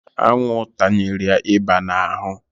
Anwụ tanyere ya ịba n'ahụ.